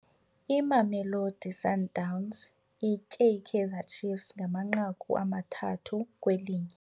Imamelodi Sundowns itye iKaizer Ciefs ngamanqaku amathathu kwelinye.